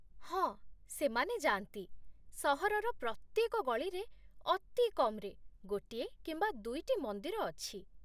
ହଁ, ସେମାନେ ଯାଆନ୍ତି। ସହରର ପ୍ରତ୍ୟେକ ଗଳିରେ ଅତି କମ୍ରେ ଗୋଟିଏ କିମ୍ବା ଦୁଇଟି ମନ୍ଦିର ଅଛି।